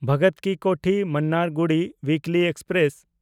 ᱵᱷᱚᱜᱚᱛ ᱠᱤ ᱠᱳᱴᱷᱤ–ᱢᱟᱱᱱᱟᱨᱜᱩᱰᱤ ᱩᱭᱤᱠᱞᱤ ᱮᱠᱥᱯᱨᱮᱥ